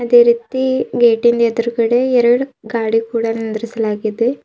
ಅದೆ ರೀತಿ ಗೇಟಿನ್ ಎದ್ರುಗಡೆ ಎರಡು ಗಾಡಿ ಕೂಡ ನಿಂದ್ರಿಸಲಾಗಿದೆ.